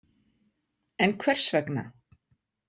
En hvers vegna?